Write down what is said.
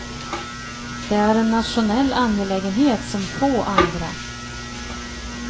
Det är en nationell angelägenhet som få andra.